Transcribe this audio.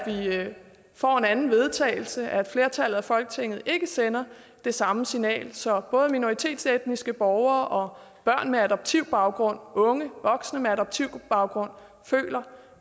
er at vi får en anden vedtagelse og at flertallet i folketinget ikke sender det samme signal så både minoritetsetniske borgere og børn med adoptivbaggrund unge voksne med adoptivbaggrund føler